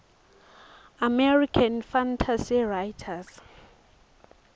american fantasy writers